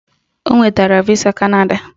O nwetara visa Kanada